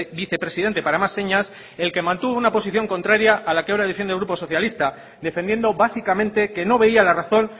vicepresidente para más señas el que mantuvo una posición contraria a la que ahora defiende el grupo socialista defendiendo básicamente que no veía la razón